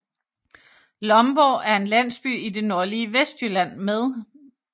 Lomborg er en landsby i det nordlige Vestjylland med